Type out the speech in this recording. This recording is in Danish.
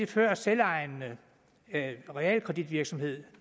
før selvejende realkreditvirksomhed